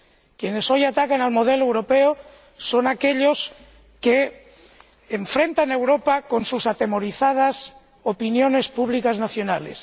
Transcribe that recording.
Quienes hoy atacan el modelo europeo son aquellos que enfrentan a Europa con sus atemorizadas opiniones públicas nacionales.